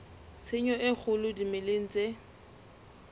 tshenyo e kgolo dimeleng tse